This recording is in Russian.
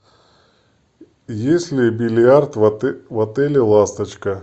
есть ли бильярд в отеле ласточка